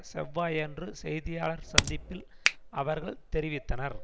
செவ்வாயன்று செய்தியாளர் சந்திப்பில் அவர்கள் தெரிவித்தனர்